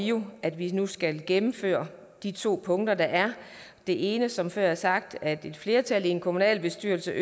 jo at vi nu skal gennemføre de to punkter der er det ene er som før sagt at et flertal i en kommunalbestyrelse